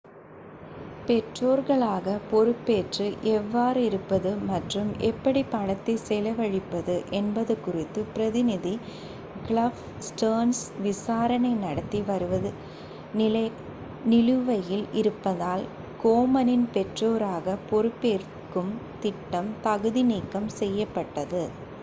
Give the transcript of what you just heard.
பெற்றோர்களாக பொறுப்பேற்று எவ்வாறு இருப்பது மற்றும் எப்படி பணத்தை செலவழிப்பது என்பது குறித்து பிரதிநிதி கிளிஃப் ஸ்டேர்ன்ஸ் விசாரணை நடத்தி வருவது நிலுவையில் இருப்பதால் கோமனின் பெற்றோராக பொறுப்பேற்கும் திட்டம் தகுதி நீக்கம் செய்யப்பட்டது